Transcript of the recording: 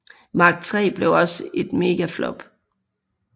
Mark 3 blev et mega flop